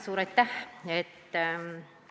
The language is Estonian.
Suur aitäh!